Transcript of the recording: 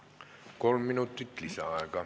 Kolm minutit lisaaega.